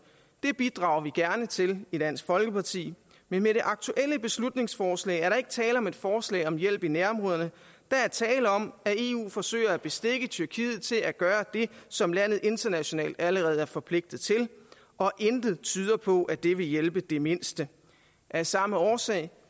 det bidrager vi gerne til i dansk folkeparti men med det aktuelle beslutningsforslag er der ikke tale om et forslag om hjælp i nærområderne der er tale om at eu forsøger at bestikke tyrkiet til at gøre det som landet internationalt allerede er forpligtet til og intet tyder på at det vil hjælpe det mindste af samme årsag